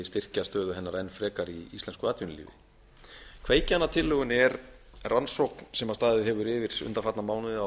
styrkja stöðu hennar enn frekar í íslensku atvinnulífi kveikjan að tillögunni er rannsókn sem staðið hefur yfir undanfarna mánuði á